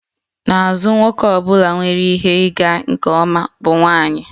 N'azụ nwoke ọ bụla nwere ihe ịga nke ọma bụ nwanyị